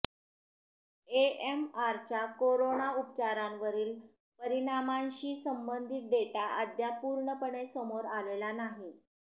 एएमआरच्या corona उपचारांवरील परिणामाशी संबंधित डेटा अद्याप पूर्णपणे समोर आलेला नाही